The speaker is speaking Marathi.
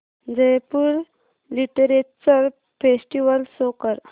जयपुर लिटरेचर फेस्टिवल शो कर